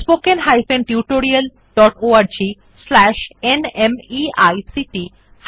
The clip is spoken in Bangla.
spoken hyphen tutorial dot org slash NMEICT